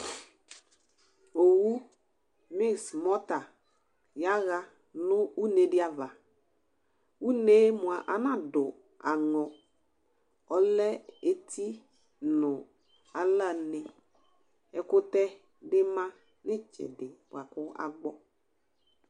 Owu bʋɩsmɔta yaɣa nʋ nʋ une dɩ ava; une yɛ mʋa, anadʋ aŋɔ, ɔlɛ eti nʋ alla neƐkʋtɛ dɩ ma nʋ ɩtsɛdɩ bʋa kʋ agbɔ